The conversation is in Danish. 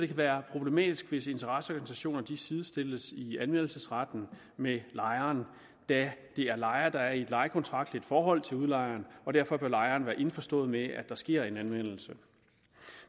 kan være problematisk hvis interesseorganisationerne sidestilles i anmeldelsesretten med lejeren da det er lejeren der er i et lejekontraktligt forhold til udlejeren og derfor bør lejeren være indforstået med at der sker en anmeldelse